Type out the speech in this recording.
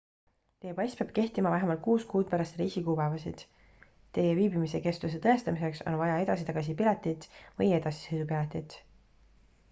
teie pass peab kehtima vähemalt 6 kuud pärast reisi kuupäevasid teie viibimise kestuse tõestamiseks on vaja edasi-tagasi piletit või edasisõidupiletit